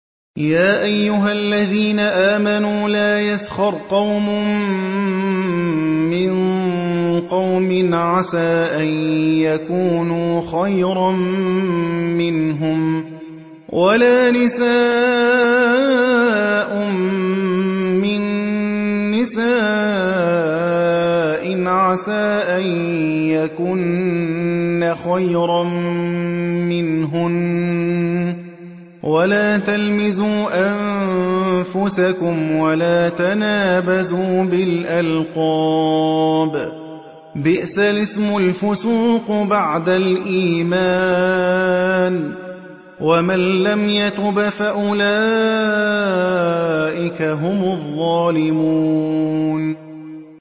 يَا أَيُّهَا الَّذِينَ آمَنُوا لَا يَسْخَرْ قَوْمٌ مِّن قَوْمٍ عَسَىٰ أَن يَكُونُوا خَيْرًا مِّنْهُمْ وَلَا نِسَاءٌ مِّن نِّسَاءٍ عَسَىٰ أَن يَكُنَّ خَيْرًا مِّنْهُنَّ ۖ وَلَا تَلْمِزُوا أَنفُسَكُمْ وَلَا تَنَابَزُوا بِالْأَلْقَابِ ۖ بِئْسَ الِاسْمُ الْفُسُوقُ بَعْدَ الْإِيمَانِ ۚ وَمَن لَّمْ يَتُبْ فَأُولَٰئِكَ هُمُ الظَّالِمُونَ